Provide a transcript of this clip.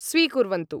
स्वीकुर्वन्तु